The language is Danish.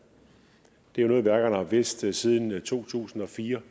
det er jo noget værkerne har vidst siden to tusind og fire